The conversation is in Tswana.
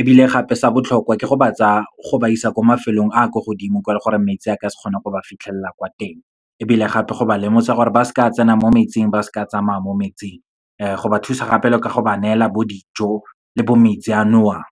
ebile gape sa botlhokwa ke go ba tsa, go ba isa kwa mafelong a a kwa godimo kwa, le gore metsi a ka se kgone go ba fitlhelela kwa teng. Ebile gape, go ba lemosa gore ba seka tsena mo metsing, ba seka ba tsamaya mo metsing, go ba thusa gape le ka go ba neela bo dijo le bo metsi a nowang.